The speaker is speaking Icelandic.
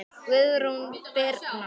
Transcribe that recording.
Guðrún Birna.